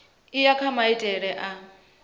u ya kha maitele a